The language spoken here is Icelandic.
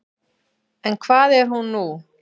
En hvað er hún nú?